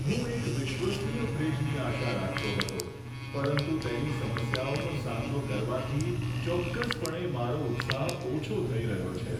હું એક વિશ્વસનીય ફ્રિજની આશા રાખતો હતો, પરંતુ તેની સમસ્યાઓનો સામનો કરવાથી ચોક્કસપણે મારો ઉત્સાહ ઓછો થઈ રહ્યો છે.